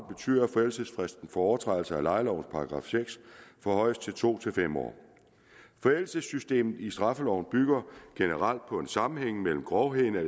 betyder at forældelsesfristen for overtrædelse af lejelovens § seks forhøjes fra to til fem år forældelsessystemet i straffeloven bygger generelt på en sammenhæng mellem grovheden af